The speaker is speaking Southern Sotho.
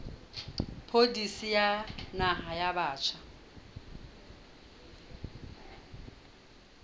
pholisi ya naha ya batjha